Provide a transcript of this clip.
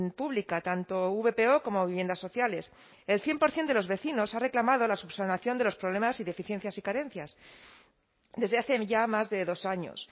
pública tanto vpo como viviendas sociales el cien por ciento de los vecinos ha reclamado la subsanación de los problemas y deficiencias y carencias desde hace ya más de dos años